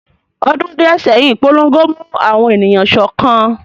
Ọdún díẹ̀ sẹ́yìn, ìpolongo mú àwọn ènìyàn sọ́kan